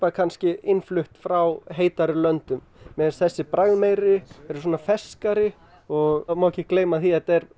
innflutt frá heitari löndum mér finnst þessi bragðmeiri og má ekki gleyma því að þetta er